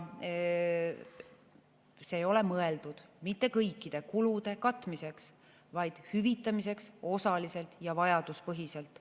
See ei ole mõeldud mitte kõikide kulude katmiseks, vaid hüvitamiseks osaliselt ja vajaduspõhiselt.